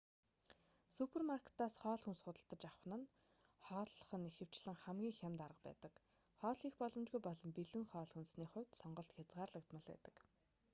супермаркетаас хоол хүнс худалдаж авах нь хооллох нь ихэвчлэн хамгийн хямд арга байдаг хоол хийх боломжгүй бол бэлэн хоол хүнсний хувьд сонголт хязгаарлагдмал байдаг